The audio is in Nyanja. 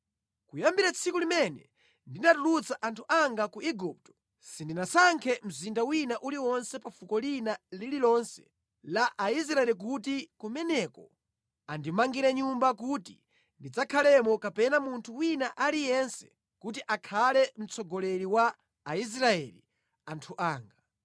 ‘Kuyambira tsiku limene ndinatulutsa anthu anga ku Igupto, sindinasankhe mzinda wina uliwonse pa fuko lina lililonse la Aisraeli kuti kumeneko andimangire Nyumba kuti ndizikhalamo kapena munthu wina aliyense kuti akhale mtsogoleri wa Aisraeli anthu anga.